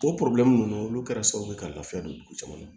O ninnu olu kɛra sababu ye ka lafiya don dugu caman na